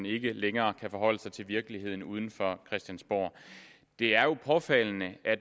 ikke længere kan forholde sig til virkeligheden uden for christiansborg det er jo påfaldende